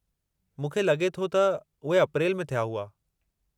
मूंखे लगे॒ थो त उहे अप्रेल में थिया हुआ।